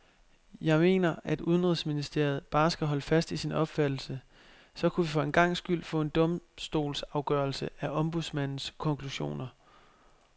Jeg mener, at udenrigsministeriet bare skal holde fast i sin opfattelse, så kunne vi for en gangs skyld få en domstolsafgørelse af ombudsmandens konklusioner.